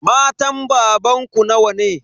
Matan babanku nawa?